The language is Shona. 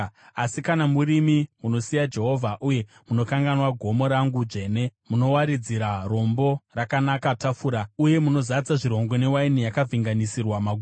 “Asi kana murimi munosiya Jehovha uye munokanganwa gomo rangu dzvene, munowaridzira Rombo Rakanaka tafura, uye munozadza zvirongo newaini yakavhenganisirwa Magumo,